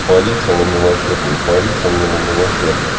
политься на мелочах не политься мне на мелочах